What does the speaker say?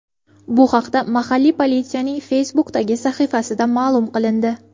Bu haqda mahalliy politsiyaning Facebook’dagi sahifasida ma’lum qilindi .